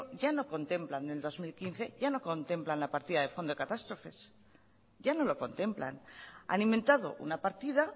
ya no contemplan en el dos mil quince ya no contemplan la partida de fondo de catástrofes ya no lo contemplan han inventado una partida